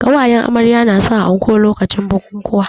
Ƙawayen amarya na sa anko lokacin bukuwa